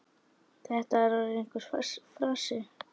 Þetta er orðinn einhver frasi.